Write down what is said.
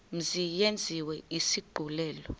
mzi yenziwe isigculelo